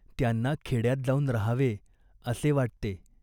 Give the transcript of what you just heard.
त्यांना खेड्यात जाऊन राहावे असे वाटते.